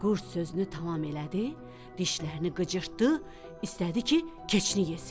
Qurd sözünü tamam elədi, dişlərini qıcırdı, istədi ki, keçini yesin.